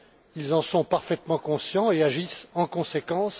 Ils en sont parfaitement conscients et agissent en conséquence.